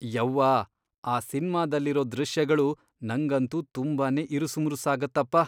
ಯವ್ವಾ! ಆ ಸಿನ್ಮಾದಲ್ಲಿರೋ ದೃಶ್ಯಗಳು ನಂಗಂತೂ ತುಂಬಾನೇ ಇರುಸುಮುರುಸಾಗತ್ತಪ.